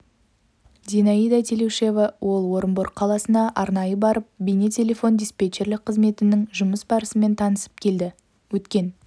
зинаида телеушева ол орынбор қаласына арнайы барып бейне-телефон диспетчерлік қызметінің жұмыс барысымен танысып келді өткен